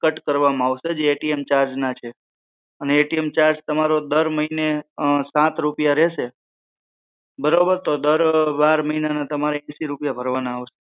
cut કરવામાં આવશે એ charge ના છે એ ટી એમ charge તમારો દર મહિને રૂપિયા રહેશે બરોબર તો દર મહિના ના તમારે રૂપિયા રહેશે